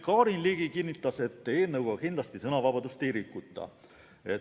Karin Ligi kinnitas, et eelnõuga kindlasti sõnavabadust ei rikuta.